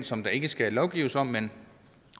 som der ikke skal lovgives om men